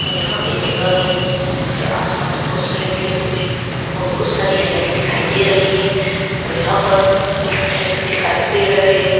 यहाँ एक जगह है उसके आस पास बहुत सारे पेड पौधे और बहुत सारी हरियाली दिखाई दे रही है और यहाँ पर कूछ महल भी दिखाई दे रहे हैं।